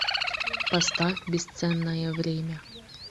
поставь бесценное время